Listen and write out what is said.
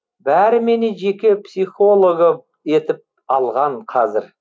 бәрі мені жеке психологы етіп алған қазір